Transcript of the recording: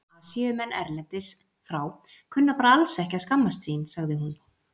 Asíumenn erlendis frá kunna bara alls ekki að skammast sín, sagði hún.